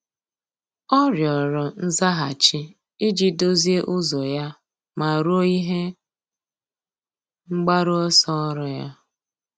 Ọ́ rịọ̀rọ̀ nzaghachi iji dòzìé ụ́zọ́ ya ma rúó ihe mgbaru ọsọ ọ́rụ́ ya.